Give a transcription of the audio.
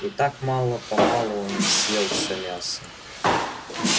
и так мало помалу он съел все мясо